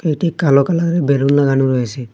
একটি কালো কালারে র বেলুন লাগানো রয়েসে।